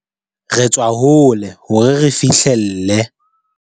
Re tswa hole hore re fihlelle